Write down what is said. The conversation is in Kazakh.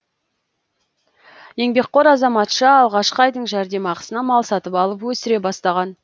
еңбекқор азаматша алғашқы айдың жәрдемақысына мал сатып алып өсіре бастаған